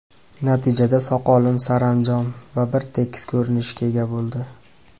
Natijada soqolim saranjom va bir tekis ko‘rinishga ega bo‘ldi.